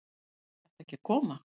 Ert ekki að koma?